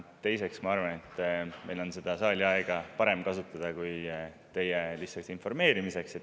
Teiseks, ma arvan, et me saame seda saaliaega kasutada paremini kui lihtsalt teie informeerimiseks.